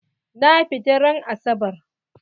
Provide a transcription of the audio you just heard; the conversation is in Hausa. Na fita ran asabar.